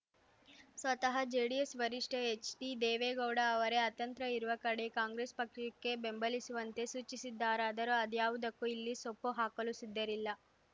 ಸ್ವತಃ ಜೆಡಿಎಸ್‌ ವರಿಷ್ಠ ಎಚ್‌ಡಿ ದೇವೇಗೌಡ ಅವರೇ ಅತಂತ್ರ ಇರುವ ಕಡೆ ಕಾಂಗ್ರೆಸ್‌ ಪಕ್ಷಕ್ಕೆ ಬೆಂಬಲಿಸುವಂತೆ ಸೂಚಿಸಿದ್ದಾರಾದರೂ ಅದ್ಯಾವುದಕ್ಕೂ ಇಲ್ಲಿ ಸೊಪ್ಪು ಹಾಕಲು ಸಿದ್ಧರಿಲ್ಲ